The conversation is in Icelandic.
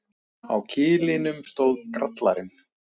Á kilinum stóð Grallarinn.